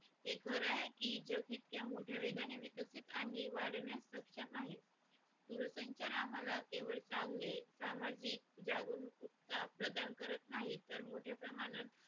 हे खर आहे की जग इतक्या मोठ्या वेगाने विकसित आणि वाढण्यास सक्षम आहे दूरसंचार आम्हाला केवळ चांगले सामाजिक जागणूक उत्साह प्रदान करत नाहीत तर मोठ्या प्रमाणात